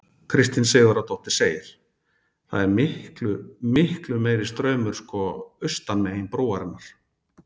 Kristín Sigurðardóttir segir: „Það er miklu, miklu meiri straumur sko austan megin brúarinnar“.